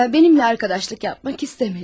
Mənimlə arkadaşlıq yapmaq istəmədi.